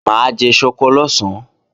Mà á jẹ ṣọkọ lọ̀sán